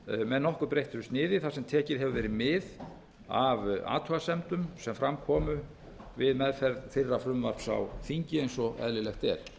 með nokkuð breyttu sniði þar sem tekið hefur verið mið af athugasemdum sem fram komu við meðferð fyrra frumvarps á þinginu eins og eðlilegt er